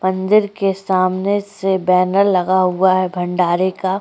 मंदिर के सामने से बैनर लगा हुवा है भंडारे का।